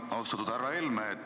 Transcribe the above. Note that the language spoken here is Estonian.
Austatud härra Helme!